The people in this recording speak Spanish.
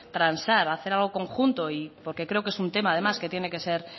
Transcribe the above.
transar hacer algo en conjunto porque creo que es un tema además que tiene que ser